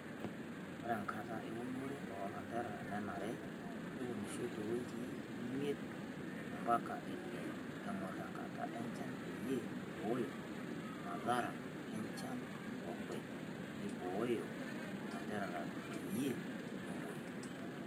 Ore enkata eunore oo lanterera nenare neunishoi too wikii miet ompaka ile eng'or enkata enchan peyie eiboyo masara enchan workurt neiboyo ilanterera peyie meng'uoyu.